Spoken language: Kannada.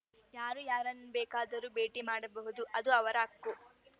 ಯಾರು ಯಾರನ್ನು ಬೇಕಾದರು ಭೇಟಿ ಮಾಡಬಹುದು ಅದು ಅವರ ಹಕ್ಕು